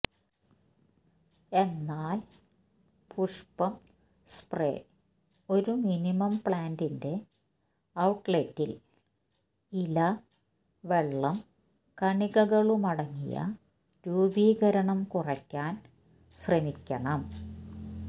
എന്നാൽ പുഷ്പം സ്പ്രേ ഒരു മിനിമം പ്ലാന്റിന്റെ ഔട്ട്ലെറ്റ് ൽ ഇല വെള്ളം കണികകളുമടങ്ങിയ രൂപീകരണം കുറയ്ക്കാൻ ശ്രമിക്കണം